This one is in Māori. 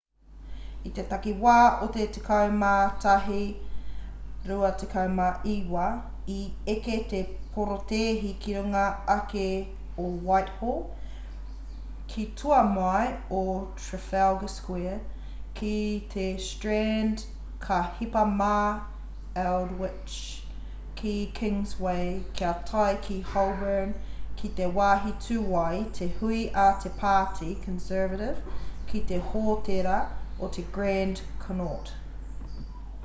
i te takiwā o te 11:29 i eke te porotēhi ki runga ake o whitehall ki tua mai o trafalgar square ki te strand ka hipa mā aldwych ki kingsway kia tae ki holborn ki te wāhi tū ai te hui a te pāti conservative ki te hōtēra o te grand connaught